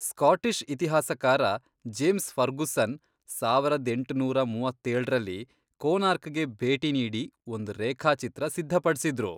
Scottish ಇತಿಹಾಸಕಾರ James Fergusson ಸಾವರದ್ ಎಂಟುನೂರ ಮೂವತ್ತೇಳ್ರಲ್ಲಿ ಕೊನಾರ್ಕ್ಗೆ ಭೇಟಿ ನೀಡಿ ಒಂದ್ ರೇಖಾಚಿತ್ರ ಸಿದ್ಧಪಡ್ಸಿದ್ರು.